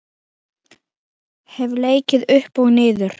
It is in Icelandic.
Hef leikið upp og niður.